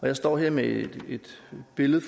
jeg står her med et billede